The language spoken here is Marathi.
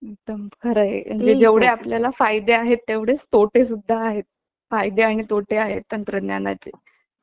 एखादया त्रिकोणी सुरक्षासारखा दिसतो अश्या भूप्रदेशाला द्वीपकल्प म्हणतात भारतीय द्वीपकल्पाचा बहुतांश भाग दख्खनच्या पठाराने व्यापलेला आहे.